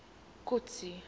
kotsi